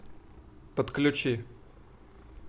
подключи